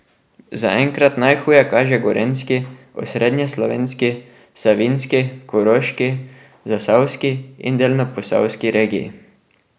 Zaenkrat najhuje kaže gorenjski, osrednjeslovenski, savinjski, koroški, zasavski in delno posavski regiji.